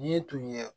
Yiri tun ye